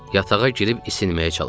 Yatağa girib isinməyə çalışırdım.